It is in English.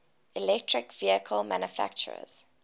electric vehicle manufacturers